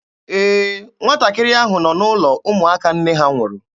Ee, nwatakịrị ahụ nọ n'ụlọ ụmụaka nne ha nwụrụ.